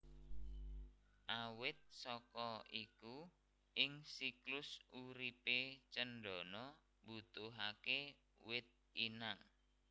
Awit saka iku ing siklus uripe cendana mbutuhake wit inang